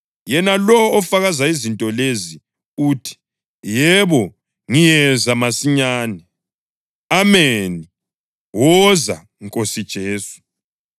Yena lowo ofakaza izinto lezi uthi, “Yebo, ngiyeza masinyane.” Ameni. Woza, Nkosi Jesu.